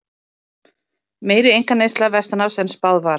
Meiri einkaneysla vestanhafs en spáð var